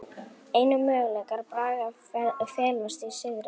Einu möguleikar Braga felast í sigri